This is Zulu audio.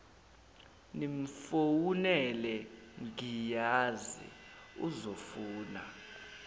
nimfowunele ngiyazi uzofuna